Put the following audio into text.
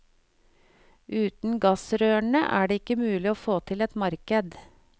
Uten gassrørene er det ikke mulig å få til et marked.